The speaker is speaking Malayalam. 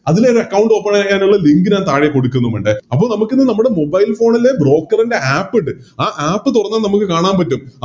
അതിലൊരു Account open ആക്കാനുള്ള Link ഞാൻ താഴെ കൊടുക്കുന്നു മുണ്ട് അപ്പൊ നമുക്കിന്ന് നമ്മുടെ Mobile phone ലെ Broker ൻറെ App ഇണ്ട് ആ App തുറന്ന നമുക്ക് കാണാൻ പറ്റും